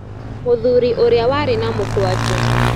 Mũthuri ũrĩa warĩ na mũkwanjũ